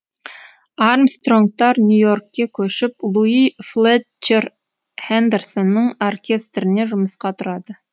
армстронгтар нью йоркке көшіп луи флетчер хендерсонның оркестріне жұмысқа тұрады